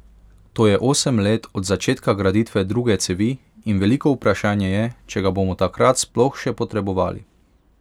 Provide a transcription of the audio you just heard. To je osem let od začetka graditve druge cevi in veliko vprašanje je, če ga bomo takrat sploh še potrebovali.